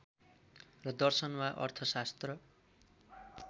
र दर्शन वा अर्थशास्त्र